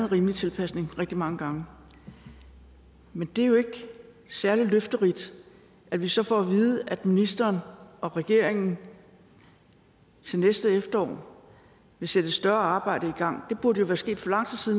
rimelig tilpasning rigtig mange gange men det er jo ikke særlig løfterigt at vi så får at vide at ministeren og regeringen til næste efterår vil sætte et større arbejde i gang det burde jo være sket for lang tid